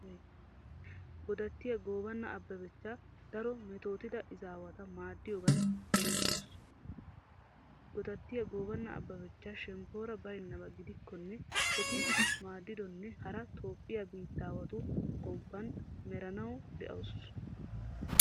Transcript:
Godattiya goobana abbebechcha daro metootida izaawata maaddiyogan erettoosona. Gidattiya goobana abbebechcha shemppoora baynnaba gidikkonne eti maaddidonne hara toophphiya biittawatu gomppan merinawu de'oosona.